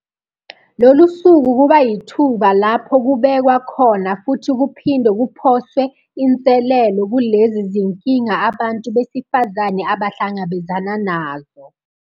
Lolu suku kuba yithuba lapho kubehkwa khona futhi kuphinde kuphoswe inselelo kulezi zinkinga abantu besifazane abasahlangabezana nazo.